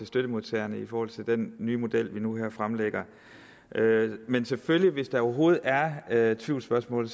støttemodtagerne i forhold til den nye model vi nu fremlægger men selvfølgelig hvis der overhovedet er er tvivlsspørgsmål